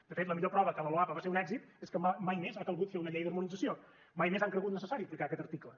de fet la millor prova que la loapa va ser un èxit és que mai més ha calgut fer una llei d’harmonització mai més han cregut necessari aplicar aquest article